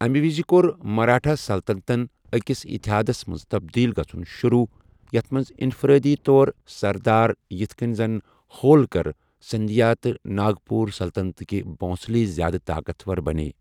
امی وَزِ کوٚر مرٲٹھہِ سلطنتَن أکِس اِتحادس منٛز تبدیٖل گژھُن شروٗع، یَتھ منٛز انفرٲدی طور سردار یِتھہٕ کٔنہِ زن ہولکر، سندھیا تہٕ ناگپور سلطنتٕکہِ بھونسلے زِیٛادٕ طاقتور بنییہِ ۔